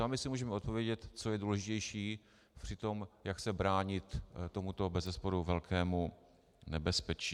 Sami si můžeme odpovědět, co je důležitější při tom, jak se bránit tomuto bezesporu velkému nebezpečí.